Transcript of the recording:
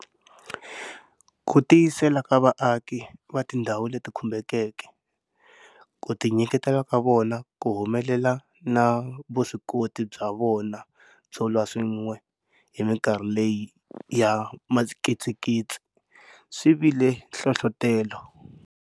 Ku tiyisela ka vaaki va tindhawu leti khumbekeke, ku tinyiketela ka vona ku humelela na vuswikoti bya vona byo lwa swin'we hi mikarhi leyi ya mikitsikitsi swi vi le nhlohlotelo.